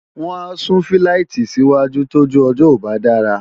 wọ́n á sún fíláìtì sí wájú tójú ọjọ́ ò bá dára